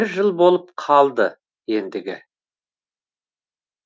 бір жыл болып қалды ендігі